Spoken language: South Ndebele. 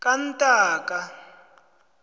kantaka